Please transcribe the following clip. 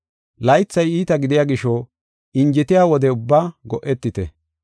Laythay iita gidiya gisho injetiya wode ubbaa go7etite.